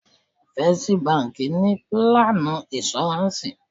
First báńkì ni pílánù ìnṣúráǹsì.